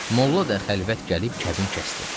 Molla da xəlvət gəlib kəbin kəsdi.